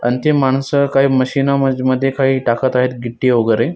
अन ते माणसं काही मशीना म मध्ये काही टाकत आहे वगैरे.